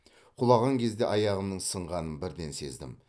құлаған кезде аяғымның сынғанын бірден сездім